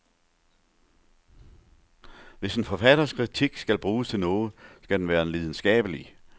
Hvis en forfatters kritik skal bruges til noget, skal den være lidenskabelig.